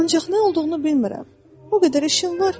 Ancaq nə olduğunu bilmirəm, o qədər işim var ki.